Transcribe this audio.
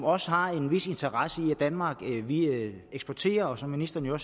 også har en vis interesse i at danmark eksporterer og som ministeren jo